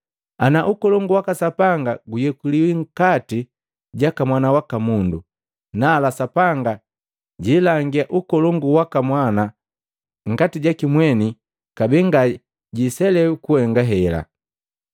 Ana ukolongu waka Sapanga guyekuliwi nkati jaka Mwana waka Mundu, nala Sapanga jilangia ukolongu waka Mwana nkati jaki mweni kabee nga jiselewi kuhenga hela.